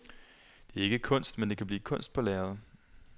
Det er ikke kunst, men det kan blive til kunst på lærredet.